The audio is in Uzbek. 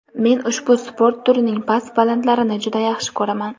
men ushbu sport turining past-balandlarini juda yaxshi ko‘raman.